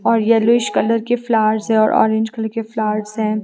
और yellowish colour के flowers है और ऑरेंज कलर के फ्लार्स हैं।